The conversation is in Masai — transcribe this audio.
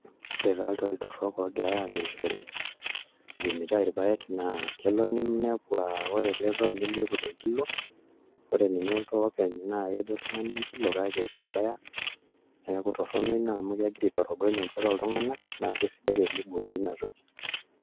Ore taa iltoi torrok ogirai amirishore, ipimitai irpaek naa, kelo ninepu ah ore ele too nimiiput enkilo, ore ninye oltoo openy naa kejo oltung'ani enkilo kake mebaya, neeku torrono ina amu kegira aitorogony enchoto oltung'anak, na kesidai teniboori inatoki.